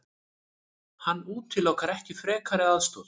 Hann útilokar ekki frekari aðstoð.